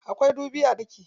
Akwai madubi a ɗaki.